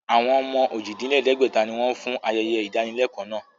Àwọn ọmọ ojì-dín-lẹ̀ẹ́dẹ́gbẹ̀ta ni wọn fún ayẹyẹ ìdánilẹ́kọ̀ọ́ náà